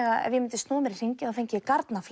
að ef ég myndi snúa mér í hringi fengi ég